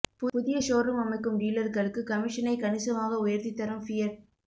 புதிய ஷோரூம் அமைக்கும் டீலர்களுக்கு கமிஷனை கணிசமாக உயர்த்தி தரும் ஃபியட்